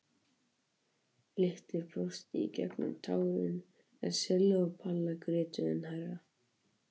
Lilla brosti í gegnum tárin en Silla og Palla grétu enn hærra.